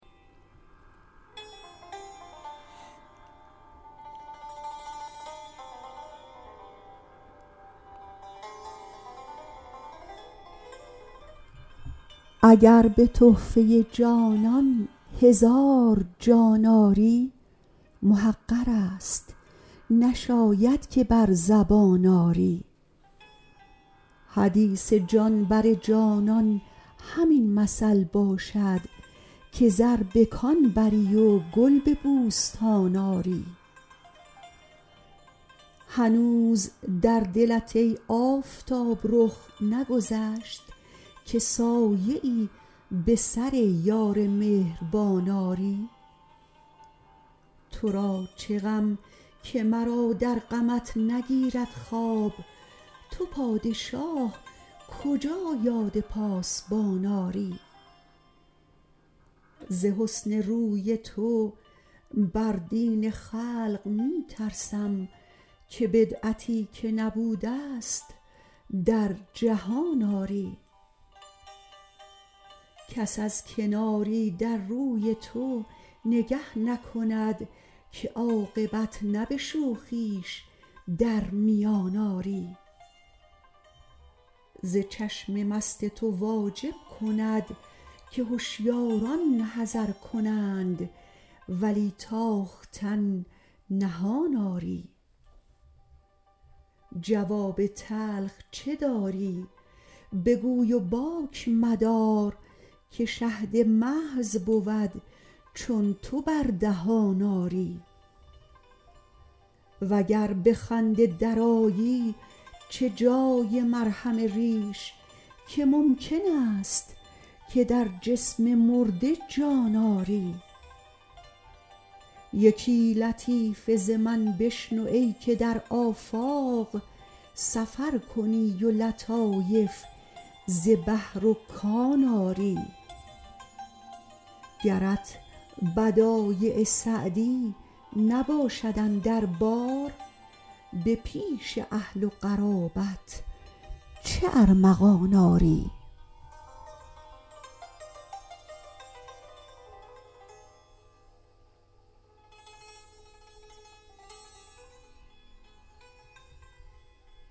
اگر به تحفه جانان هزار جان آری محقر است نشاید که بر زبان آری حدیث جان بر جانان همین مثل باشد که زر به کان بری و گل به بوستان آری هنوز در دلت ای آفتاب رخ نگذشت که سایه ای به سر یار مهربان آری تو را چه غم که مرا در غمت نگیرد خواب تو پادشاه کجا یاد پاسبان آری ز حسن روی تو بر دین خلق می ترسم که بدعتی که نبوده ست در جهان آری کس از کناری در روی تو نگه نکند که عاقبت نه به شوخیش در میان آری ز چشم مست تو واجب کند که هشیاران حذر کنند ولی تاختن نهان آری جواب تلخ چه داری بگوی و باک مدار که شهد محض بود چون تو بر دهان آری و گر به خنده درآیی چه جای مرهم ریش که ممکن است که در جسم مرده جان آری یکی لطیفه ز من بشنو ای که در آفاق سفر کنی و لطایف ز بحر و کان آری گرت بدایع سعدی نباشد اندر بار به پیش اهل و قرابت چه ارمغان آری